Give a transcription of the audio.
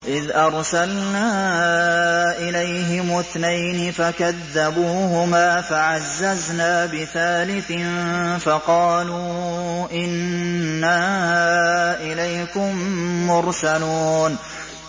إِذْ أَرْسَلْنَا إِلَيْهِمُ اثْنَيْنِ فَكَذَّبُوهُمَا فَعَزَّزْنَا بِثَالِثٍ فَقَالُوا إِنَّا إِلَيْكُم مُّرْسَلُونَ